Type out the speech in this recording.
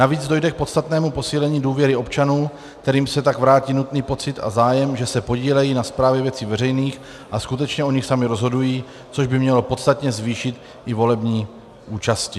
Navíc dojde k podstatnému posílení důvěry občanům, kterým se tak vrátí nutný pocit a zájem, že se podílejí na správě věci veřejných a skutečně o nich sami rozhodují, což by mělo podstatně zvýšit i volební účasti.